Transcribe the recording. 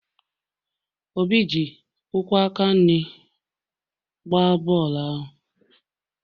obi ji ụkwụ aka nri gbaa bọọlụ ahụ